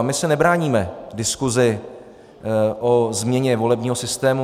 A my se nebráníme diskusi o změně volebního systému.